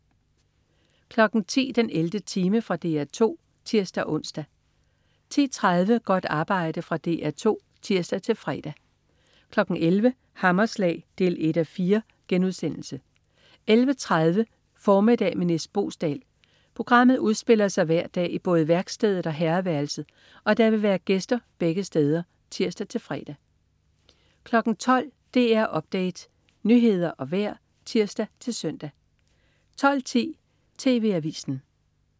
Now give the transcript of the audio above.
10.00 den 11. time. Fra DR 2 (tirs-ons) 10.30 Godt arbejde. Fra DR 2 (tirs-fre) 11.00 Hammerslag 1:4* 11.30 Formiddag med Nis Boesdal. Programmet udspiller sig hver dag i både værkstedet og herreværelset, og der vil være gæster begge steder (tirs-fre) 12.00 DR Update. Nyheder og vejr (tirs-søn) 12.10 TV Avisen